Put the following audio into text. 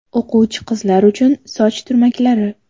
O‘quvchi qizlar uchun soch turmaklari .